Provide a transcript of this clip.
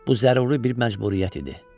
Bu zəruri bir məcburiyyət idi.